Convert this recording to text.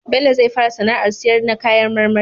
Bello zai fara sAna ar siyar na kayan marmari